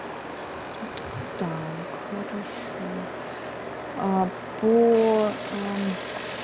так хорошо а по